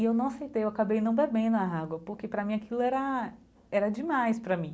E eu não aceitei, eu acabei não bebendo a água, porque para mim aquilo era era demais para mim.